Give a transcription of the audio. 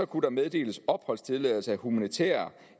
kunne meddeles opholdstilladelse af humanitære